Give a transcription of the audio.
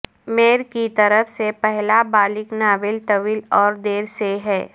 mayor کی طرف سے پہلا بالغ ناول طویل اور دیر سے ہے